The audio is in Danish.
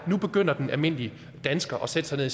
nu begynder den almindelige dansker at sætte sig ned